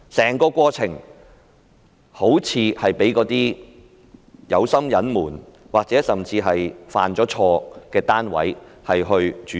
整個過程好像被有心隱瞞或甚至被犯錯的單位所主導。